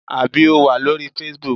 Àbí o wà lórí facebook?